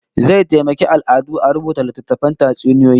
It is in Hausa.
Zai taimaki al'adu a rubuta littatttafan tatsuniyoyi